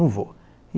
Não vou.